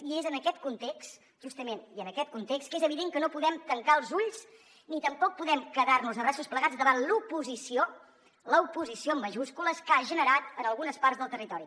i és en aquest context justament que és evident que no podem tancar els ulls ni tampoc podem quedar nos de braços plegats davant l’oposició l’oposició en majúscules que ha generat en algunes parts del territori